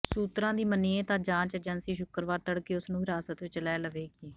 ਸੂਤਰਾਂ ਦੀ ਮੰਨੀਏ ਤਾਂ ਜਾਂਚ ਏਜੰਸੀ ਸ਼ੁੱਕਰਵਾਰ ਤੜਕੇ ਉਸ ਨੂੰ ਹਿਰਾਸਤ ਵਿਚ ਲੈ ਲਵੇਗੀ